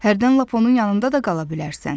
Hərdən lap onun yanında da qala bilərsən.